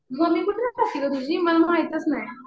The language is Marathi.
मम्मी कुठं राहते गं तुझी? मला माहीतच नाही.